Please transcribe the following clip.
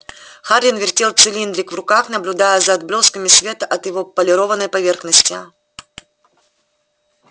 хардин вертел цилиндрик в руках наблюдая за отблесками света от его полированной поверхности